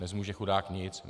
Nezmůže chudák nic!